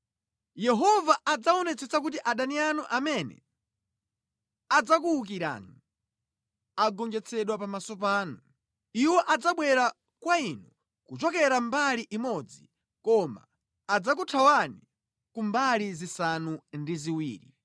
Yehova adzaonetsetsa kuti adani anu amene adzakuwukirani agonjetsedwe pamaso panu. Iwo adzabwera kwa inu kuchokera mbali imodzi koma adzakuthawani ku mbali zisanu ndi ziwiri.